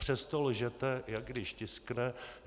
Přesto lžete, jak když tiskne.